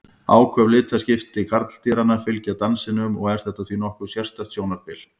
Áköf litaskipti karldýranna fylgja dansinum og er þetta því nokkuð sérstakt sjónarspil.